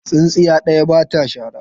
Tsintsiya ɗaya ba ta shara.